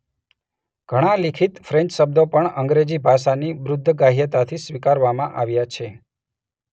ઘણા લિખિત ફ્રેન્ચ શબ્દો પણ અંગ્રેજી ભાષાની બુદ્ધગ્રાહ્યતાથી સ્વીકારવામાં આવ્યા છે.